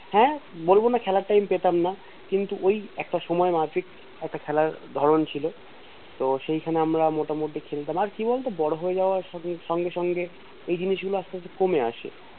হ্যা বলবো না খেলার time পেতাম যান কিন্তু ওই একটা সময় না ঠিক একটা খেলার ধরণ ছিল তো সেই সময় আমরা মোটা মুটি খেলতাম আর কি বলতো বড় হয়ে যাওয়ার সঙ্গে সঙ্গে এই জিনিস গুলো আস্তে আস্তে কমে আসে